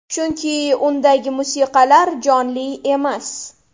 Chunki undagi musiqalar jonli emas.